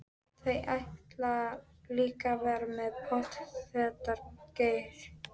Þú ætlar líka að verða pottþéttur gaur.